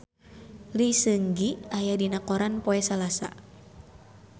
Lee Seung Gi aya dina koran poe Salasa